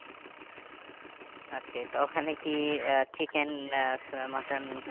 তো ওখানে কি আহ chicken আহ mutton সব